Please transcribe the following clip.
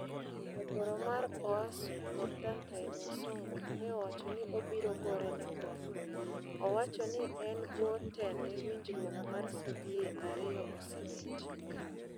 Jagoro mar uasu Contantine Wasongo neowacho ni obiro gorene kome. Owacho ni e bwo tende winjruok mar CBA ario osebetie.